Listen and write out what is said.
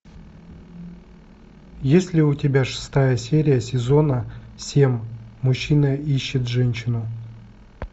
есть ли у тебя шестая серия сезона семь мужчина ищет женщину